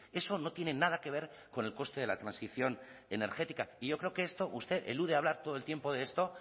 eso no tiene nada que ver con el coste de la transición energética y yo creo que esto usted elude hablar todo el tiempo de esto